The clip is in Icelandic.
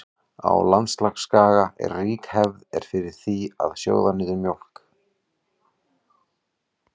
Á Indlandsskaga er rík hefð er fyrir því að sjóða niður mjólk.